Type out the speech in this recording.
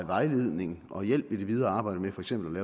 vejledning og hjælp i det videre arbejde med for eksempel